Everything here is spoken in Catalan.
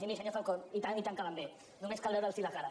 i miri senyor falcó i tant i tant que van bé només cal veure’ls la cara